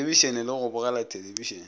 thelebišene le go bogela thelebišene